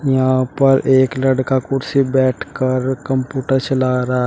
यहां पर एक लड़का कुर्सी पर बैठ कर कंप्यूटर चला रहा--